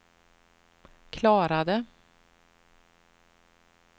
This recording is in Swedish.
klarade